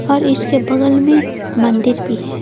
और इसके बगल में मंदिर भी है।